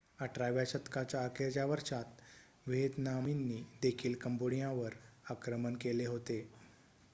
18 व्या शतकाच्या अखेरच्या वर्षांत व्हिएतनामींनी देखील कंबोडियावर आक्रमण केले होते